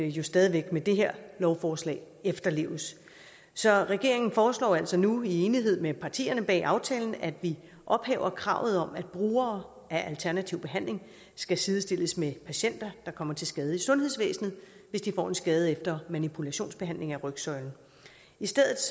jo stadig væk med det her lovforslag efterleves så regeringen foreslår altså nu i enighed med partierne bag aftalen at vi ophæver kravet om at brugere af alternativ behandling skal sidestilles med patienter der kommer til skade i sundhedsvæsenet hvis de får en skade efter manipulationsbehandling af rygsøjlen i stedet